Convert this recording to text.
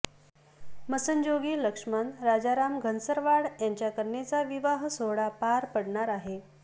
मसनजोगी लक्ष्मण राजाराम घनसरवाड यांच्या कन्येचा विवाह सोहळा पार पडणार आहे